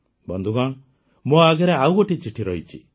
ବନ୍ଧୁଗଣ ମୋ ଆଗରେ ଆଉ ଗୋଟିଏ ଚିଠି ରହିଛି